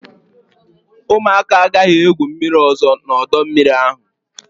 ụmụaka agaghị egwu mmiri ọzọ n'ọdọ mmiri ahụ!